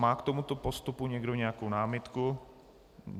Má k tomuto postupu někdo nějakou námitku?